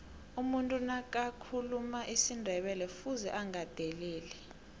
umuntu nakathuluma isindebelekufuze agandelele